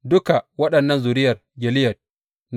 Duka waɗannan zuriyar Gileyad ne.